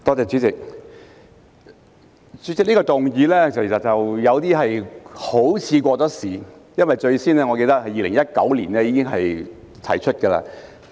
這項議案好像有點過時，因為我記得是在2019年提出。